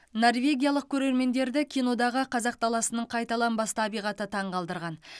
норвегиялық көрермендерді кинодағы қазақ даласының қайталанбас табиғаты таңғалдырған